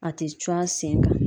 A tɛ cun a sen kan.